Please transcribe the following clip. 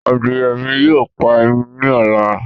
Adìye mi yóò pa ẹyin ni ọ̀la